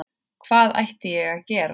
Hvað ætti ég að gera?